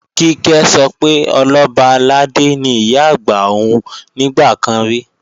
Kíkẹ́ sọ pé Ọlọ́ba àlàdé ni Ìyá-àgbà òun nígbà kan rí